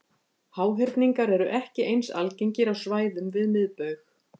Háhyrningar eru ekki eins algengir á svæðum við miðbaug.